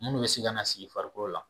Minnu bɛ se ka na na sigi farikolo la